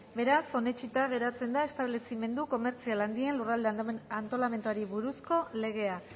beraz onetsita geratzen da establezimendu komertzial handien lurralde antolamenduari buruzko legea